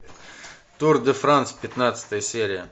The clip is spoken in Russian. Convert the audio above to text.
тур де франц пятнадцатая серия